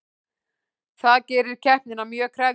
Það gerir keppnina mjög krefjandi